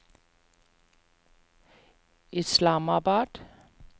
Islamabad